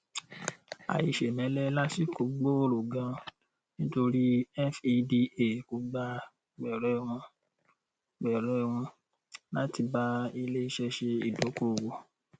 àìṣèmẹlẹ lásìkò gbòòrò ganan nítorí feda kò gba gbẹrẹ wọn gbẹrẹ wọn láti bá iléiṣẹ ṣe ìdókòòwò